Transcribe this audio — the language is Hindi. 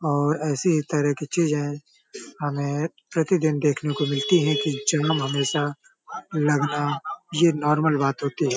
और ऐसी ही तरह की चीजें हमें प्रतिदिन देखने को मिलती है कि जाम हमेशा लगना ये नॉर्मल बात होती है।